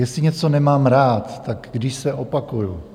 Jestli něco nemám rád, tak když se opakuju.